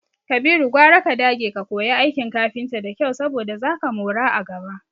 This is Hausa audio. Kabiru, gwara ka dage ka koya aikin kafinta da kyau saboda zaka mora a gaba.